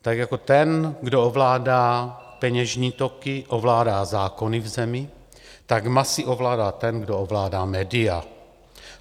Tak jako ten, kdo ovládá peněžní toky, ovládá zákony v zemi, tak masy ovládá ten, kdo ovládá média.